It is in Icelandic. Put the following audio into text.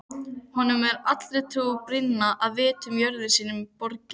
Honum er allri trú brýnna að vita jörðum sínum borgið.